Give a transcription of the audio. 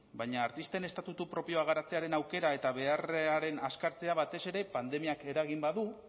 baina artisten estatutu propioak garatzearen aukera eta beharraren azkartzea batez ere pandemiak eragin badu